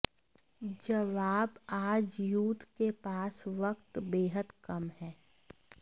जवाबः आज यूथ के पास वक्त बेहद कम है